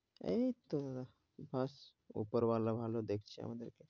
এই তো বস, ওপর ওয়ালা ভালো দেখছে আমাদের কে,